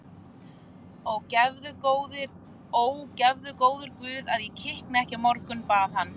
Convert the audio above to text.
Ó, gefðu góður Guð að ég kikni ekki að morgni, bað hann.